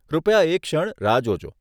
કૃપયા એક ક્ષણ રાહ જોજો.